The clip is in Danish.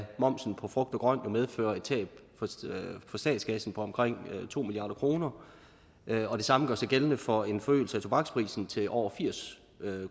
momsen på frugt og grønt vil medføre et tab for statskassen på omkring to milliard kroner det samme gør sig gældende for en forøgelse af tobaksprisen til over firs